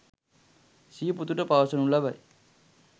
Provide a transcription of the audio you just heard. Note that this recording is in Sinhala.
සිය පුතුට පවසනු ලබයි.